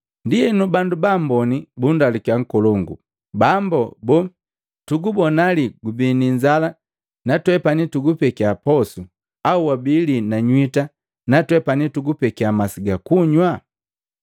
Ndienu bandu ba mboni bundalukiya nkolongu, ‘Bambo boo, tugubona lii gubii ni inzala natwepani tugupekya posu au wabii lii na nywita na twepani tukupekya masi gakunywa?